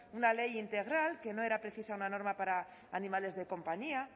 una ley integral que no era precisa una norma para animales de compañía